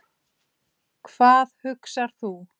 Hvað hugsar þú?